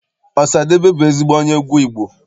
Ọsadebe bụ ezigbo onye egwu Igbo.